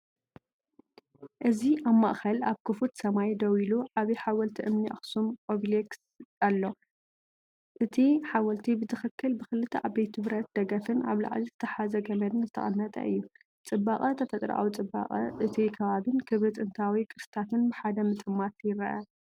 እዚ ኣብ ማእኸል፡ኣብ ክፉት ሰማይ ደው ኢሉ፡ዓቢ ሓወልቲ እምኒ ኣኽሱም ኦቤሊስክ ኣሎ። ሠእቲ ሓወልቲ ብትኽክል ብኽልተ ዓበይቲ ብረት ደገፍን ኣብ ላዕሊ ዝተተሓሓዘ ገመድን ዝተቐመጠ እዩ። ጽባቐ ተፈጥሮኣዊ ጽባቐ እቲ ከባቢን ክብሪ ጥንታዊ ቅርስታትን ብሓደ ምጥማት ይርአ።